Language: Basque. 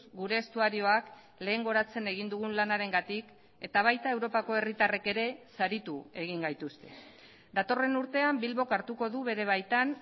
gure estuarioak lehengoratzen egin dugun lanarengatik eta baita europako herritarrek ere saritu egin gaituzte datorren urtean bilbok hartuko du bere baitan